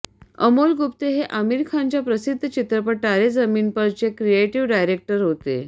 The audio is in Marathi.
अमोल गुप्ते हे आमिर खानच्या प्रसिद्ध चित्रपट तारे जमिन पर चे क्रिएटिव डायरेक्टर होते